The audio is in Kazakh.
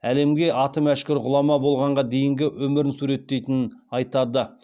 әлемге аты мәшһүр ғұлама болғанға дейінгі өмірін суреттейтінін айтады